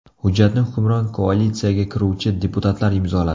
Hujjatni hukmron koalitsiyaga kiruvchi deputatlar imzoladi.